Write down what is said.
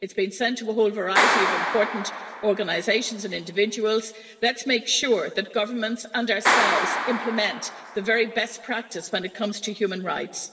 It has been sent to a whole variety of important organisations and individuals. Let's make sure that governments and ourselves implement the very best practice when it comes to human rights.